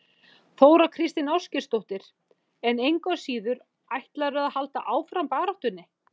Þóra Kristín Ásgeirsdóttir: En engu að síður, ætlarðu að halda áfram baráttunni?